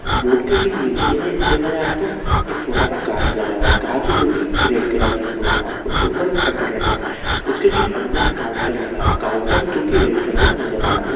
board के ठीक नीचे की साइड में देखा जाए तो एक छोटा - सा काँच लगा हुआ है काँच जोकि रेड कलर के इसमें लगा है उसके ऊपर एक शटर लगा हुआ है उसके ठीक अंदर काउंटर लगा हुआ है काउंटर जोकि रेड कलर नज़र आ रहा उस --